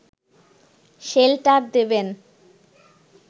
shelter দেবেন